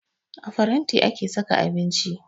A faranti ake saka abinci